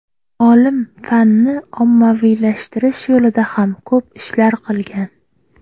Olim fanni ommaviylashtirish yo‘lida ham ko‘p ishlar qilgan.